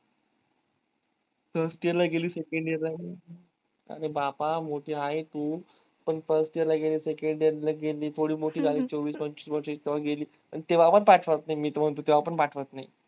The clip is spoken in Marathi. first year ला गेली second year ला आली अरे बापा मोठी आहे तू पन fist year ला गेली second year ला गेली थोडि मोठी झालीस चोवीस पंचाविस वर्षाची .